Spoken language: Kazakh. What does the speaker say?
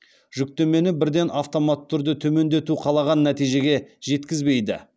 жүктемені бірден автоматты түрде төмендету қалаған нәтижеге жеткізбейді